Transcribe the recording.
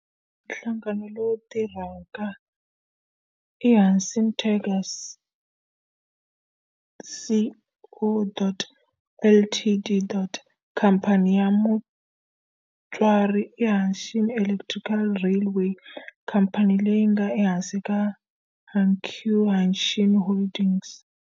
Nhlangano lowu tirhaka i Hanshin Tigers Co., Ltd. Khamphani ya mutswari i Hanshin Electric Railway, khamphani leyi nga ehansi ka Hankyu Hanshin Holdings.